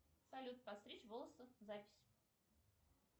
салют постричь волосы запись